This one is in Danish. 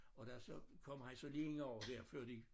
Og da så kommer han så lige ind over dér før de